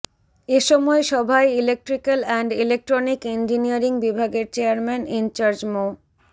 এসময় সভায় electrical and electronic engineering বিভাগের চেয়ারম্যান ইনচার্জ মো